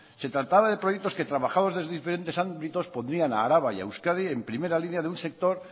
se trataba de proyectos que trabajados desde diferentes ámbitos pondrían a álava y a euskadi en primera línea de un sector